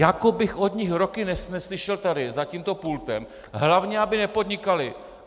Jako bych od nich roky neslyšel tady za tímto pultem: Hlavně aby nepodnikali.